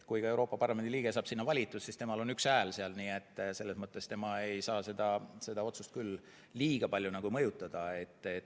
Kui Euroopa Parlamendi liige saab sinna valitud, siis temal on üks hääl, nii et selles mõttes tema ei saa seda otsust küll liiga palju mõjutada.